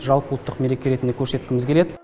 жалпыұлттық мереке ретінде көрсеткіміз келеді